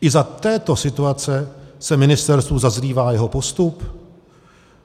I za této situace se ministerstvu zazlívá jeho postup?